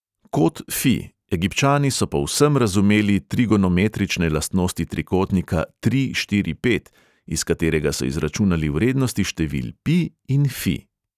Kot fi: egipčani so povsem razumeli trigonometrične lastnosti trikotnika tri štiri pet, iz katerega so izračunali vrednosti števil pi in fi.